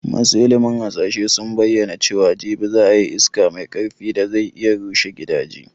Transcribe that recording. Masu ilimin hasashe sun bayyana cewa jibi za a yi iska mai karfi da zai iya rushe gidaje